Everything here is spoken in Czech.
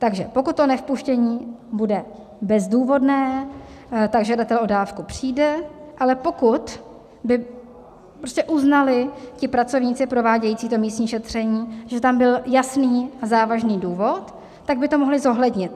Takže pokud to nevpuštění bude bezdůvodné, tak žadatel o dávku přijde, ale pokud by prostě uznali ti pracovníci provádějící to místní šetření, že tam byl jasný a závažný důvod, tak by to mohli zohlednit.